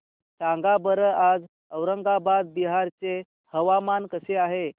सांगा बरं आज औरंगाबाद बिहार चे हवामान कसे आहे